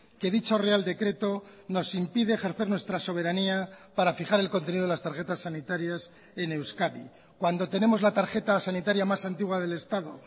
que dicho real decreto nos impide ejercer nuestra soberanía para fijar el contenido de las tarjetas sanitarias en euskadi cuando tenemos la tarjeta sanitaria más antigua del estado